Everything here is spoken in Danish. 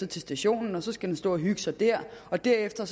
til stationen og så skal den stå og hygge sig der og derefter